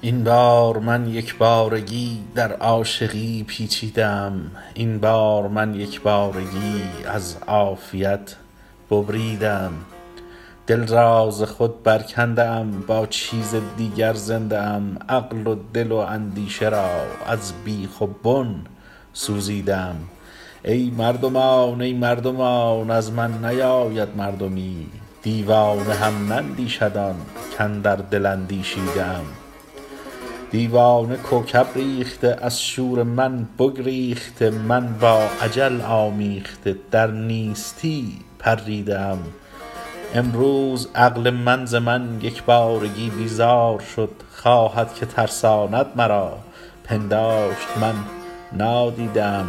این بار من یک بارگی در عاشقی پیچیده ام این بار من یک بارگی از عافیت ببریده ام دل را ز خود برکنده ام با چیز دیگر زنده ام عقل و دل و اندیشه را از بیخ و بن سوزیده ام ای مردمان ای مردمان از من نیاید مردمی دیوانه هم نندیشد آن کاندر دل اندیشیده ام دیوانه کوکب ریخته از شور من بگریخته من با اجل آمیخته در نیستی پریده ام امروز عقل من ز من یک بارگی بیزار شد خواهد که ترساند مرا پنداشت من نادیده ام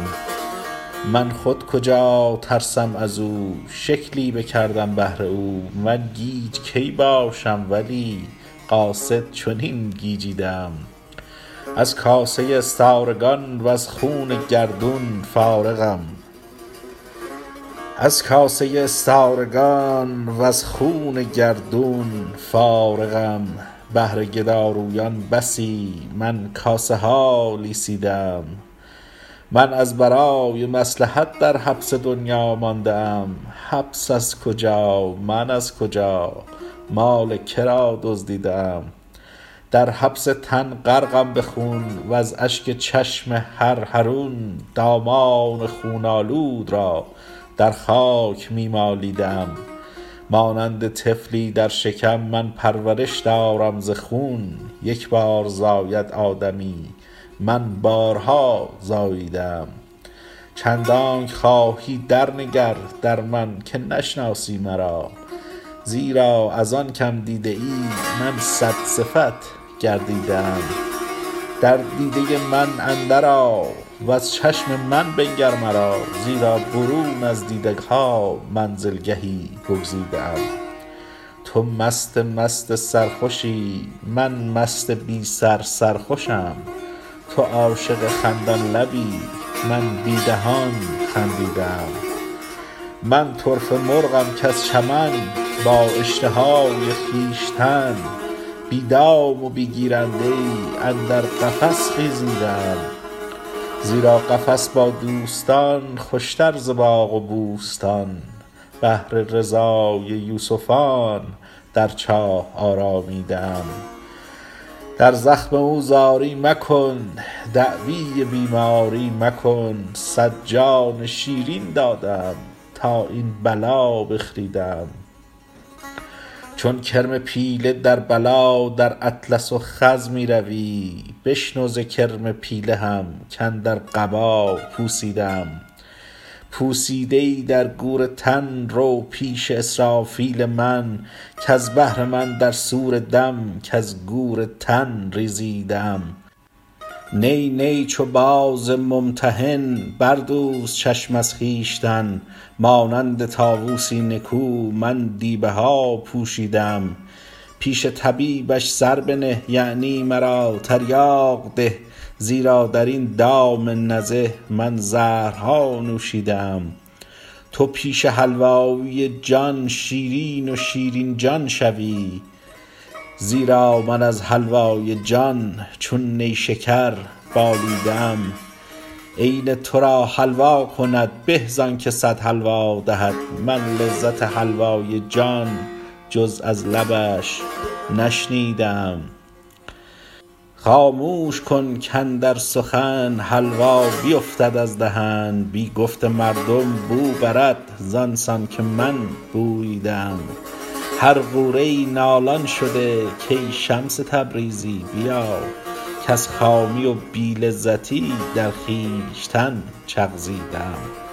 من خود کجا ترسم از او شکلی بکردم بهر او من گیج کی باشم ولی قاصد چنین گیجیده ام از کاسه استارگان وز خوان گردون فارغم بهر گدارویان بسی من کاسه ها لیسیده ام من از برای مصلحت در حبس دنیا مانده ام حبس از کجا من از کجا مال که را دزدیده ام در حبس تن غرقم به خون وز اشک چشم هر حرون دامان خون آلود را در خاک می مالیده ام مانند طفلی در شکم من پرورش دارم ز خون یک بار زاید آدمی من بارها زاییده ام چندانک خواهی درنگر در من که نشناسی مرا زیرا از آن که م دیده ای من صدصفت گردیده ام در دیده من اندرآ وز چشم من بنگر مرا زیرا برون از دیده ها منزلگهی بگزیده ام تو مست مست سرخوشی من مست بی سر سرخوشم تو عاشق خندان لبی من بی دهان خندیده ام من طرفه مرغم کز چمن با اشتهای خویشتن بی دام و بی گیرنده ای اندر قفس خیزیده ام زیرا قفس با دوستان خوشتر ز باغ و بوستان بهر رضای یوسفان در چاه آرامیده ام در زخم او زاری مکن دعوی بیماری مکن صد جان شیرین داده ام تا این بلا بخریده ام چون کرم پیله در بلا در اطلس و خز می روی بشنو ز کرم پیله هم کاندر قبا پوسیده ام پوسیده ای در گور تن رو پیش اسرافیل من کز بهر من در صور دم کز گور تن ریزیده ام نی نی چو باز ممتحن بردوز چشم از خویشتن مانند طاووسی نکو من دیبه ها پوشیده ام پیش طبیبش سر بنه یعنی مرا تریاق ده زیرا در این دام نزه من زهرها نوشیده ام تو پیش حلوایی جان شیرین و شیرین جان شوی زیرا من از حلوای جان چون نیشکر بالیده ام عین تو را حلوا کند به زانک صد حلوا دهد من لذت حلوای جان جز از لبش نشنیده ام خاموش کن کاندر سخن حلوا بیفتد از دهن بی گفت مردم بو برد زان سان که من بوییده ام هر غوره ای نالان شده کای شمس تبریزی بیا کز خامی و بی لذتی در خویشتن چغزیده ام